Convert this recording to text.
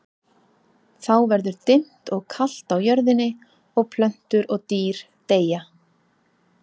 Þá verður dimmt og kalt á jörðinni og plöntur og dýr deyja.